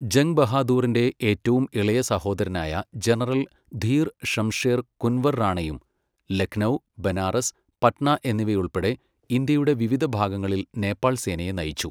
Jung ബഹാദൂറിന്റെ ഏറ്റവും ഇളയ സഹോദരനായ ജനറൽ ധീർ ഷംഷേർ കുൻവർ റാണയും ലക്നൗ, ബനാറസ്, പട്ന എന്നിവയുൾപ്പെടെ ഇന്ത്യയുടെ വിവിധ ഭാഗങ്ങളിൽ നേപ്പാൾ സേനയെ നയിച്ചു.